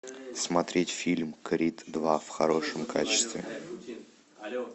смотреть фильм крид два в хорошем качестве